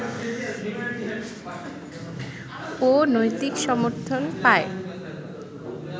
ও নৈতিক সমর্থন পায়